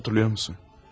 Xatırlayırsan?